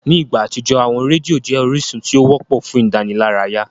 Ní ìgbà àtijọ́, àwọn rédíò jẹ́ orísun tí ó wọ́pọ̀ fún ìdánilárayá.